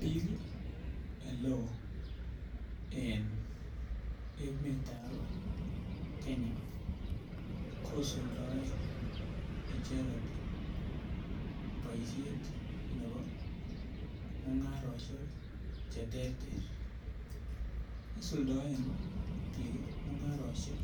Bik oe en emetab Kenya kisuldaen icheket boishet nebo mungaroshek cheterter, isuldoen bik kii mungaroshek